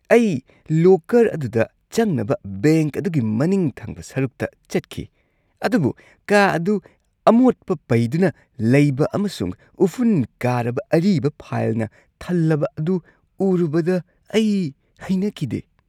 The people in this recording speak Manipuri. ꯑꯩ ꯂꯣꯀꯔ ꯑꯗꯨꯗ ꯆꯪꯅꯕ ꯕꯦꯡꯛ ꯑꯗꯨꯒꯤ ꯃꯅꯤꯡ ꯊꯪꯕ ꯁꯔꯨꯛꯇ ꯆꯠꯈꯤ, ꯑꯗꯨꯕꯨ ꯀꯥ ꯑꯗꯨ ꯑꯃꯣꯠꯄ ꯄꯩꯗꯨꯅ ꯂꯩꯕ ꯑꯃꯁꯨꯡ ꯎꯐꯨꯟ ꯀꯥꯔꯕ ꯑꯔꯤꯕ ꯐꯥꯏꯜꯅ ꯊꯜꯂꯕ ꯑꯗꯨ ꯎꯔꯨꯕꯗ ꯑꯩ ꯍꯩꯅꯈꯤꯗꯦ ꯫